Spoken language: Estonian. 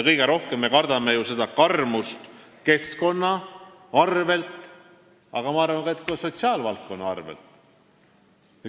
Kõige rohkem me kardame ju karmust keskkonna arvel, aga ma arvan, et ka sotsiaalvaldkonna arvel.